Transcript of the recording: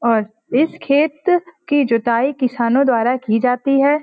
और इस खेत की जुताई किसानों द्वारा की जाती है।